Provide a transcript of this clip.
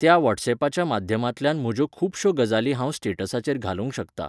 त्या वॉटसॅपाच्या माध्यमांतल्यान म्हज्यो खुबश्यो गजाली हांव स्टेटसाचेर घालूंक शकतां.